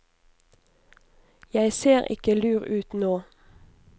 Jeg ser ikke lur ut nå.